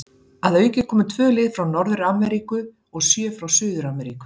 Að auki komu tvö lið frá Norður-Ameríku og sjö frá Suður-Ameríku.